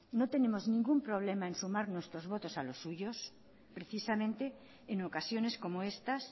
no tenemos ningún problema en sumar nuestros votos a los suyos precisamente en ocasiones como estas